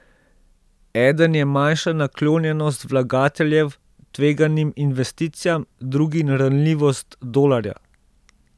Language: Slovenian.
Eden je manjša naklonjenost vlagateljev tveganim investicijam, drugi ranljivost dolarja.